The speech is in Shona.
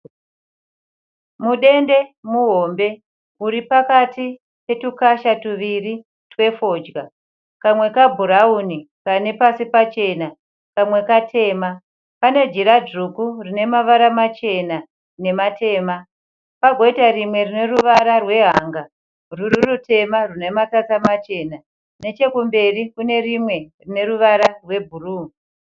Mudende muhombe uri pakati petukasha tuviri twefodya. Kamwe kabhurawuni kane pasi pachena, kamwe katema. Pane jira dzvuku rine mavara machena nematema. Pagoita rimwe rine ruvara rwehanga rwuri rutema rwune matsata machena. Nechekumberi kune rimwe rine ruvara rwebhuruu.